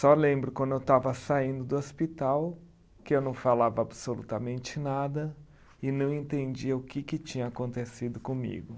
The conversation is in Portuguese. Só lembro quando eu estava saindo do hospital que eu não falava absolutamente nada e não entendia o que que tinha acontecido comigo.